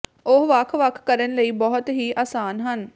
ਉਹ ਵੱਖ ਵੱਖ ਕਰਨ ਲਈ ਬਹੁਤ ਹੀ ਆਸਾਨ ਹਨ